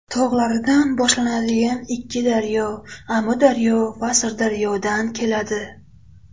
tog‘laridan boshlanadigan ikki daryo: Amudaryo va Sirdaryodan keladi.